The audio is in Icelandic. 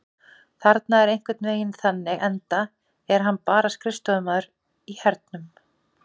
Hann er einhvern veginn þannig enda er hann bara skrifstofumaður í hernum.